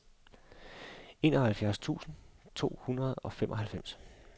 enoghalvfjerds tusind to hundrede og femoghalvfems